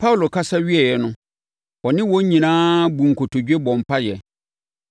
Paulo kasa wieeɛ no ɔne wɔn nyinaa buu nkotodwe bɔɔ mpaeɛ.